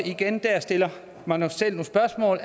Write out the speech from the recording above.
igen der stiller mig selv nogle spørgsmål